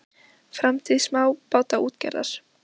Framtíð smábátaútgerðar?